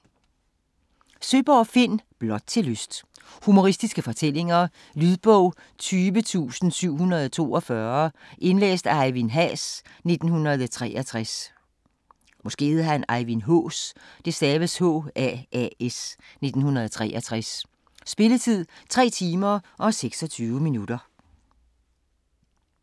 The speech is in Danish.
Søeborg, Finn: Blot til lyst Humoristiske fortællinger. Lydbog 20742 Indlæst af Ejvind Haas, 1963. Spilletid: 3 timer, 26 minutter.